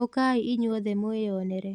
ũkai inyuothe mwĩyonere.